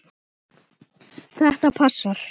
Þetta passar.